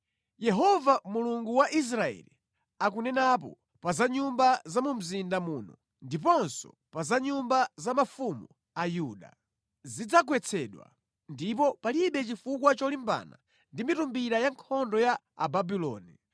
Yehova Mulungu wa Israeli akunenapo pa za nyumba za mu mzinda muno ndiponso pa za nyumba za mafumu a Yuda. Zidzagwetsedwa, ndipo palibe chifukwa cholimbana ndi mitumbira ya nkhondo ya Ababuloni.